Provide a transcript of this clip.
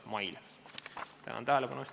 Tänan tähelepanu eest!